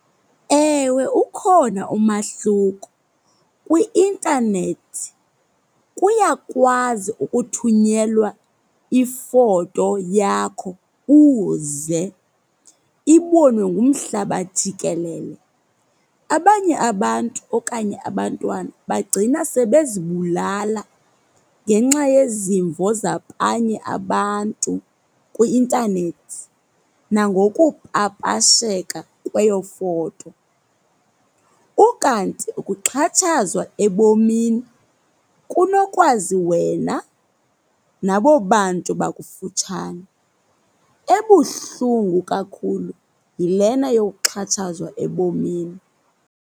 Ewe, ukhona umahluko. Kwi-intanethi kuyakwazi ukuthunyelwa ifoto yakho uze, ibonwe ngumhlaba jikelele. Abanye abantu okanye abantwana bagcina sebezibulala ngenxa yezimvo zabanye abantu kwi-intanethi nangokupapasheka kweyo foto. Ukanti ukuxhatshazwa ebomini kunokwazi wena nabo bantu bakufutshane. Ebuhlungu kakhulu yilena yokuxhatshazwa ebomini.